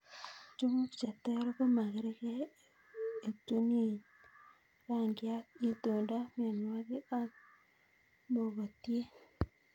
Njuguk che che ter ko makargei ,etuniet, rangiat, itondo mwanik akmogotiet